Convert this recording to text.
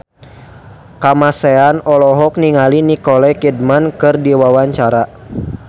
Kamasean olohok ningali Nicole Kidman keur diwawancara